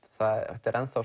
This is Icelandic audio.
þetta er